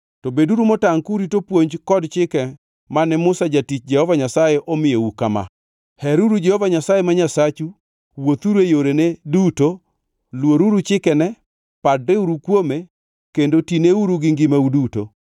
To beduru motangʼ kurito puonj kod chike mane Musa jatich Jehova Nyasaye omiyou kama: heruru Jehova Nyasaye ma Nyasachu, wuothuru e yorene duto, luoruru chikene, padreuru kuome kendo tineuru gi ngimau duto.”